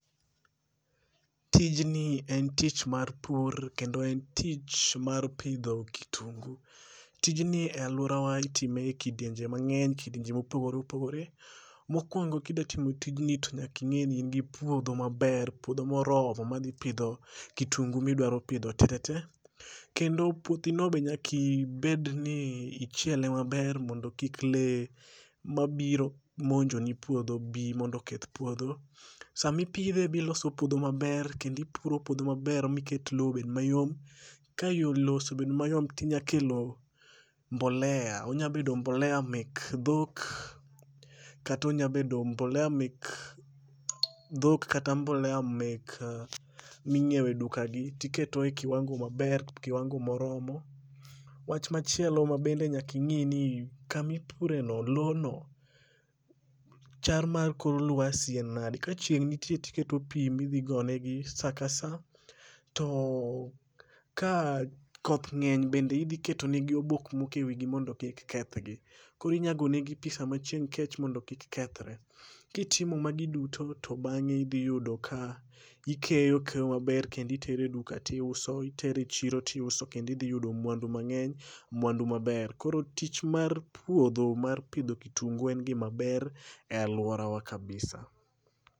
Tijni en tich mar pur kendo en tich mar pidho kitungu. Tijni e alworawa itime e kidienje mang'eny, kidienjo mopogore opogore. Mokwongo kida timo tijni to nyaka ing'i ni en gi puodho maber, puodho moromo madhi pidho kitungu midwaro pidho tetete, kendo puothino be nyaki bed ni ichiele maber mondo kik lee mabiro monjoni puodho bi mondo oketh puodho. Samipidhe be iloso puodho maber kendo ipuro puodho maber miket lowo obed mayom, ka lowo osebedo mayom tinya kelo mbolea onya bedo mbolea[c] mek dhok kata onya bedo mbolea mek dhok kata mbolea minyiewo e dukagi, tiketo e kiwango maber, kiwango moromo. wach machielo mabende nyaka ing'i ni kama ipureno, lowono, chal mar kor lwasi en nadi?. Kachieng' nitie tiketo pi midhi gonegi sa ka sa, to ka koth ng'eny bende idhi ketonegi obok moko e wigi mondo pi kik kethgi. Koro inya gone pi sama chieng' kech mondo kik kethre. Kitimo magi duto to bang'e idhi yudo ka ikeyo keyo maber kendo itere duka tiuso, itero e chiro tiuso kendo idhi yudo mwandu mang'eny, mwandu maber. Koro tich mar puodho, mar pidho kitungu en gimaber e alworawa kabisa.